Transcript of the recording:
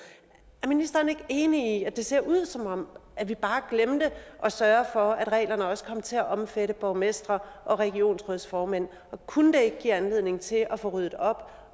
er ministeren ikke enig i at det ser ud som om vi bare glemte at sørge for at reglerne også kom til at omfatte borgmestre og regionsrådsformænd og kunne det ikke give anledning til at få ryddet op